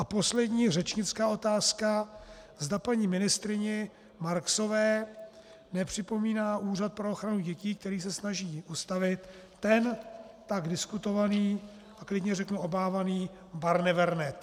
A poslední, řečnická otázka, zda paní ministryni Marksové nepřipomíná úřad pro ochranu dětí, který se snaží ustavit, ten tak diskutovaný a klidně řeknu obávaný Barnevern.